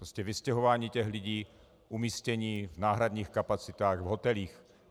Prostě vystěhování těch lidí, umístění v náhradních kapacitách, v hotelích.